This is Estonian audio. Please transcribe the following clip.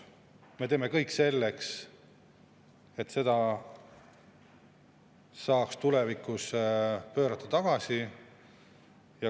Me teeme kõik selleks, et selle saaks tulevikus tagasi pöörata.